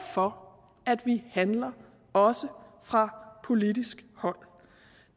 for at vi handler også fra politisk hold